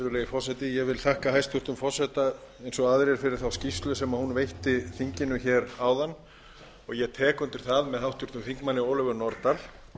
ég þakka hæstvirtum forseta eins og aðrir fyrir þá skýrslu sem hún veitti þinginu hér áðan og ég tek undir það með háttvirtum þingmanni ólöfu nordal